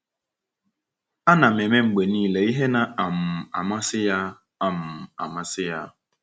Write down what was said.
Ana m eme mgbe niile ihe na um -amasị ya.” um -amasị ya.”